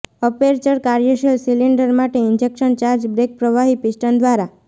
aperture કાર્યશીલ cylinder માટે injection charge brake પ્રવાહી પિસ્ટન દ્વારા